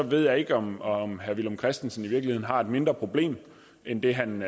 ved jeg ikke om om herre villum christensen i virkeligheden har et mindre problem end det han